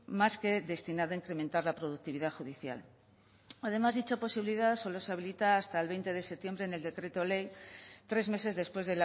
más que destinada a incrementar la productividad judicial además dicha posibilidad solo se habilita hasta el veinte de septiembre en el decreto ley tres meses después